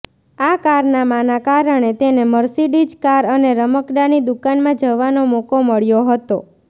આ કારનામાના કારણે તેને મર્સિડીજ કાર અને રમકડાંની દુકાનમાં જવાનો મોકો મળ્યો હતો